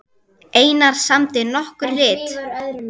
Einar samdi nokkur rit